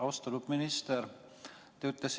Austatud minister!